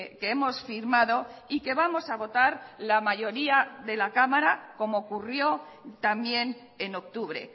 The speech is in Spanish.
que hemos firmado y que vamos a votar la mayoría de la cámara como ocurrió también en octubre